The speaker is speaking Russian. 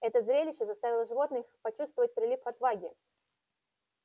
это зрелище заставило животных почувствовать прилив отваги